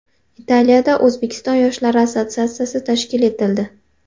Italiyada O‘zbekiston yoshlari assotsiatsiyasi tashkil etildi.